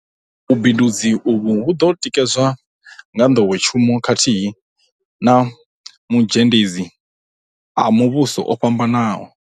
Vhubindudzi uvhu vhu ḓo tikedzwa nga nḓowetshumo khathihi na mazhendedzi a muvhuso o fhambanaho.